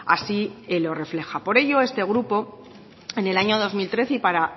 así lo refleja por ello este grupo en el año dos mil trece y para